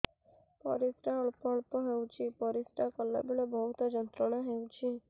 ପରିଶ୍ରା ଅଳ୍ପ ଅଳ୍ପ ହେଉଛି ପରିଶ୍ରା କଲା ବେଳେ ବହୁତ ଯନ୍ତ୍ରଣା ହେଉଛି